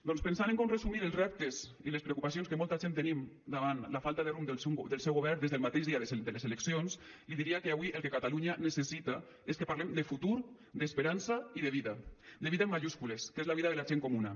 doncs pensant en com resumir els reptes i les preocupacions que molta gent tenim davant la falta de rumb del seu govern des del mateix dia de les eleccions li diria que avui el que catalunya necessita és que parlem de futur d’esperança i de vida de vida amb majúscules que és la vida de la gent comuna